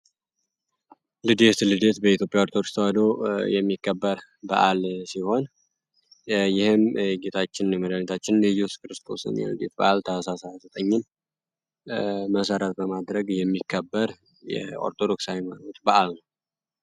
ልደት በኢትዮጵያ ኦርቶዶክስ ተዋሕዶ ቤተክርስቲያን የሚከበር ሲሆን ይህም የጌታችን እየሱስ ክርስቶስ የልደት በዓል መሰረት በማድረግ ታህሳስ 29 ይከበራል።